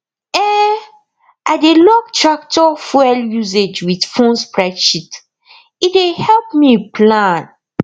um i dey log tractor fuel usage with phone spreadsheet e dey help me plan